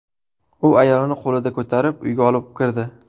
U ayolini qo‘lida ko‘tarib, uyga olib kirdi.